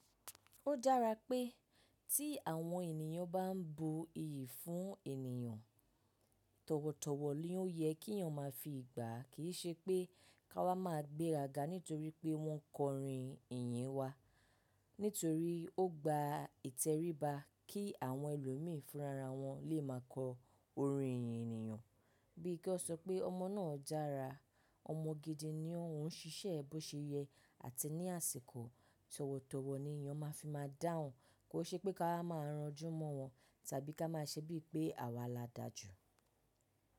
Ó dára pé tí àwọn ènìyàn bá n bo iyì fún ènìyàn, tọ̀wọ̀tọ̀wọ̀ ni ó yẹ kí ènìyàn má a fi gbà kì í ṣe pé ká má a gbéra ga nítorí pé wọ́n kọ orin ìyìn wa. Nítorí ó gba ìtẹríba kí àwọn ẹlòmíì fúnra ra wọn lè má a kọ orin ìyìn ènìyàn. Bí i kí ó sọ pé ọmọ náà dára, ọmọ gidi ni oun, ṣíṣẹ́ bó ṣe yẹ àti ní àsìkò tọ̀wọ̀tọ̀wọ̀ ni ènìyàn má a fi má a dáhùn kó ṣe pé ká má a ranjú mọ́ wọn tàbí ká má a ṣe bí i pé àwa la dáa jù.